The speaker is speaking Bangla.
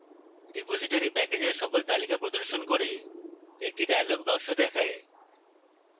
repository প্যাকেজের সকল তালিকা প্রদর্শন করে একটি dialog box দেখায়